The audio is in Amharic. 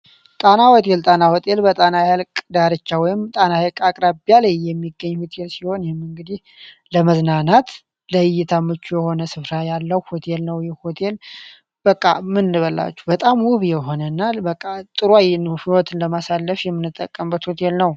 ጣና ሆቴል ጣና ሆቴል በጣና ሐይቅ ዳርቻ ወይም ጣና አቅራቢ ያለ የሚገኝ ሆቴል ሲሆን ለመዝናናት ይህ ሆቴል ለመዝናናት በጣም አሪፍ የሆነ በጣም ጥሩ አየር ያለውና ደስ ብሎን የምንጠቀምበት ሆቴል ነው።